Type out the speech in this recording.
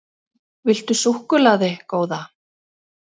Viltu súkkulaði, góða?